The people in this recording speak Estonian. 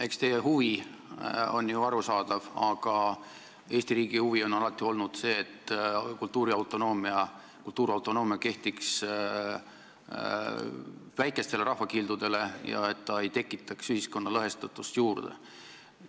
Eks teie huvi on ju arusaadav, aga Eesti riigi huvi on alati olnud see, et kultuuriautonoomia kehtiks väikestele rahvakildudele ja et see ei tekitaks ühiskonna lõhestatust juurde.